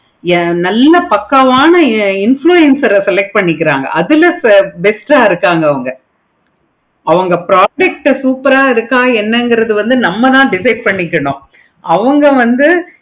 yeah நல்ல பக்காவான influencer ஆஹ் select பண்ணிருக்காங்க. அதுல best ஆஹ் இருக்காங்க அவங்க project super ஆஹ் இருக்க என்னென்னு நம்ம தான் decide பண்ணிக்கணும். அவங்க வந்து